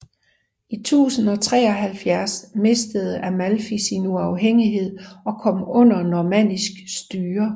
I 1073 mistede Amalfi sin uafhængighed og kom under normannisk styre